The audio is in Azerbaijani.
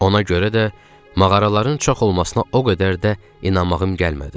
Ona görə də mağaraların çox olmasına o qədər də inanmağım gəlmədi.